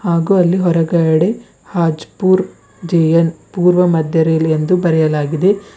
ಹಾಗೂ ಅಲ್ಲಿ ಹೊರಗಡೆ ಹಜ್ ಪುರ್ ಜೆ_ಎನ್ ಪೂರ್ವ ಮಧ್ಯ ರೇಲ್ ಎಂದು ಬರೆಯಲಾಗಿದೆ.